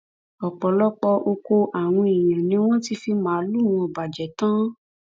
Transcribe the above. ọpọlọpọ ọkọ àwọn èèyàn ni wọn sì ti fi màálùú wọn bàjẹ tán